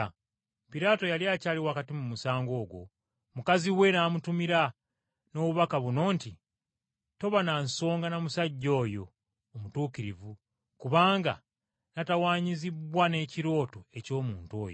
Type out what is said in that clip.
Piraato yali akyali wakati mu musango ogwo, mukazi we n’amutumira n’obubaka buno nti, “Toba na nsonga na musajja oyo omutuukirivu kubanga natawaanyizibbwa n’ekirooto eky’omuntu oyo.”